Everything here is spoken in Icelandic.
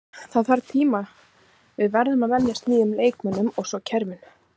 Það þarf tíma, við verðum að venjast nýjum leikmönnum og svo kerfinu.